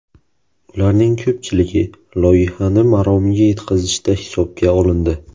Ularning ko‘pchiligi loyihani maromiga yetkazishda hisobga olindi.